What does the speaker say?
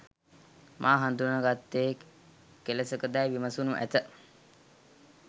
මා හදුනා ගත්තේ කෙලෙසකදැයි විමසනු ඇත.